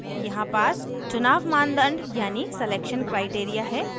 यहाँ pass चुनाव मानदंड यानी selection criteria है